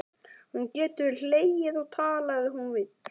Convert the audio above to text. Hún getur hlegið og talað ef hún vill.